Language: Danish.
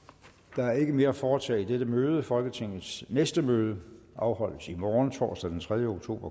der er ikke mere at foretage i dette møde folketingets næste møde afholdes i morgen torsdag den tredje oktober